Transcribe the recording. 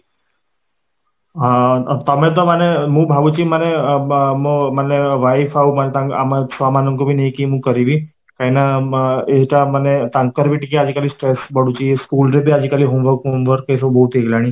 ଅଂ ତମେ ତ ମାନେ ମୁଁ ଭାବୁଛି ମାନେ ମାନେ ମୋ ମାନେ wife ଆଉ ମାନେ ତାଙ୍କ ଆମ ଛୁଆ ମାନଙ୍କୁ ବି ନେଇକି କରିବି, କାହିଁକି ନା ଏଇଟା ମାନେ ତାଙ୍କର ବି ଟିକେ ଆଜି କାଲି stress ବଢୁଛି ସ୍କୁଲ ରେ ବି ଆଜି କାଲି homework ଏସବୁ ବହୁତ ହେଇଗଲାଣି